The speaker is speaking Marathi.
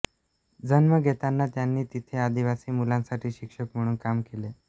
जन्म घेताना त्यांनी तिथे आदिवासी मुलांसाठी शिक्षक म्हणून काम केले